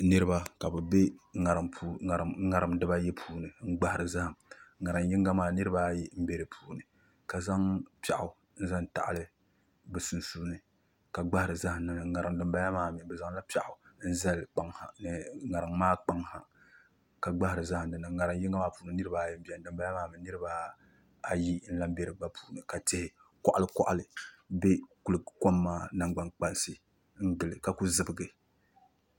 Niraba ka bi bɛ ŋarim dibayi puuni n gbahari zaham ŋarim yinga maa niraba ayi n bɛ di puuni ka zaŋ piɛɣu n zaŋ taɣali bi sunsuuni ka gbahari zaham niŋda ŋarim dinbala maa mii bi zaŋla piɛɣu n zali kpaŋ ha ni ŋarim maa kpaŋ ha ka gbahari zaham dinni ŋarim yinga maa puuni niraba ayi n biɛni dinbala maa mii niraba ayi n lahi bɛ di gba puuni ka tihi koɣali koɣali ku bɛ kom maa nangbani kpansi ka ku zibigi